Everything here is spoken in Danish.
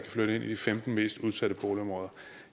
flytte ind i de femten mest udsatte boligområder